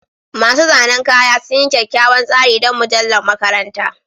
Masu zanen kaya sun yi kyakkyawan tsari don mujallar makaranta